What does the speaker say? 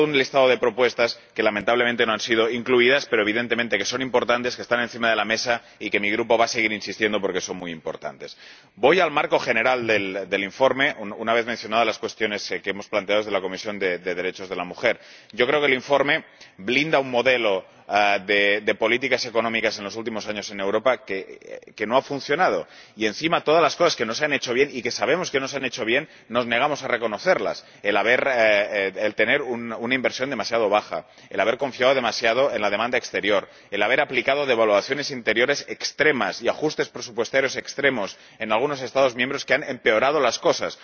todo un listado de propuestas que lamentablemente no han sido incluidas, pero que evidentemente son importantes, están encima de la mesa y mi Grupo va a seguir insistiendo en ellas porque son muy importantes. Voy al marco general del informe, una vez mencionadas las cuestiones que hemos planteado desde la Comisión de Derechos de la Mujer. Yo creo que el informe blinda un modelo de políticas económicas en los últimos años en Europa que no ha funcionado, y encima todas las cosas que no se han hecho bien —y que sabemos que no se han hecho bien— nos negamos a reconocerlas. El tener una inversión demasiado baja, el haber confiado demasiado en la demanda exterior, el haber aplicado devaluaciones interiores extremas y ajustes presupuestarios extremos en algunos Estados miembros, que han empeorado las cosas